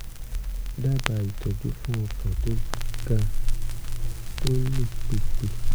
dábàá ìtọ́jú fún ọkàn tó ga tó ń lù pìpì